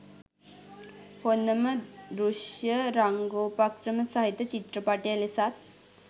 හොඳම දෘශ්‍ය රංගෝපක්‍රම සහිත චිත්‍රපටය ලෙසත්